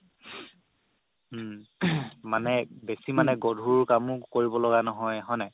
উম মানে বেচি মানে গধুৰ কামো কৰিব লগিয়া নহয় হয় নাই